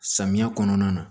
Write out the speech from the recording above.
Samiyɛ kɔnɔna na